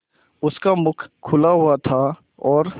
उसका मुख खुला हुआ था और